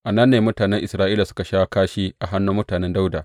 A nan ne mutanen Isra’ila suka sha kashi a hannun mutanen Dawuda.